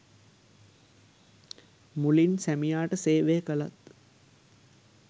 මුලින් සැමියාට සේවය කළත්